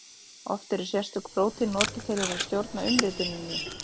Oft eru sérstök prótín notuð til þess að stjórna umrituninni.